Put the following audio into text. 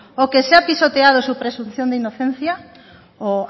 o que se ha pisoteado su presunción de inocencia o